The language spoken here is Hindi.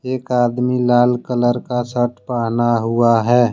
एक आदमी लाल कलर का शर्ट पहना हुआ है।